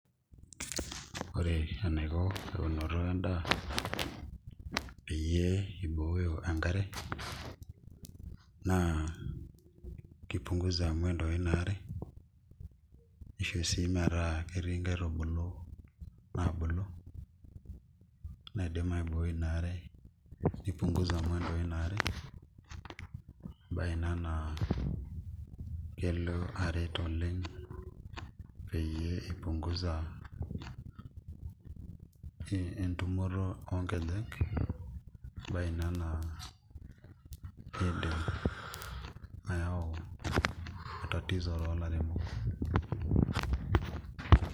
Ore enaiko eunoto endaa peyie ibooyo enkare naa kipunguza mwendo ina are naa kisho sii metaa ketii nkaitubulu naidim aibooi ina are nipunguza mwendo ina are embaye ina naa kelo aret oleng' peyie ipunguza entumoto oonkejek embaye ina naa kiidim ayau tatizo toolairemok.